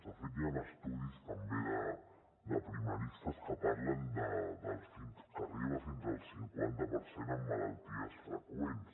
de fet hi han estudis també de primaristes que parlen de que arriba fins al cinquanta per cent en malalties freqüents